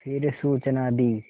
फिर सूचना दी